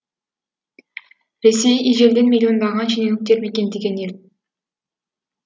ресей ежелден миллиондаған шенеуніктер мекендеген ел